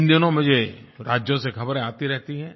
इन दिनों मुझे राज्यों से ख़बरें आती रहती हैं